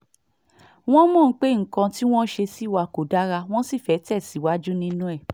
wọ́n mọ̀ pé nǹkan tí àwọn ṣe sí wa kò dára wọ́n sì fẹ́ẹ́ tẹ̀ síwájú nínú ẹ̀